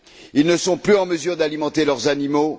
Ils ne sont plus en mesure d'alimenter leurs animaux.